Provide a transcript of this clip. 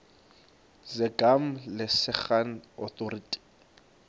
zegama lesngesn authorit